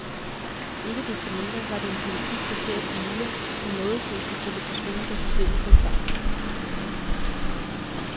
Ikke desto mindre var det en politik baseret på myter, som nådeløst blev stillet for skue, da systemet brød sammen.